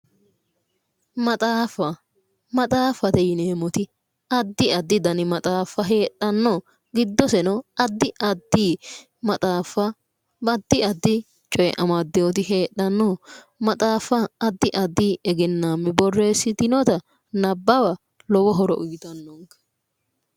Maxaaffa yineemoti adda addi hedo amadano maxaafa no iseno adi adi egenaammi boreesitewo maxaaffa nabawa noonke